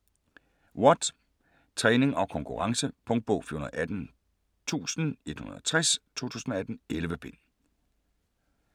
Watt: træning og konkurrence Punktbog 418160 2018. 11 bind.